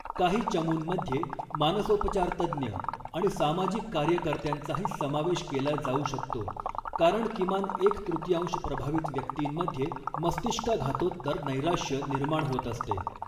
काही चमूंमध्ये मानसोपचारतज्ज्ञ आणि सामाजिक कार्यकर्त्यांचाही समावेश केला जाऊ शकतो, कारण किमान एक तृतीयांश प्रभावित व्यक्तींमध्ये मस्तिष्काघातोत्तर नैराश्य निर्माण होत असते.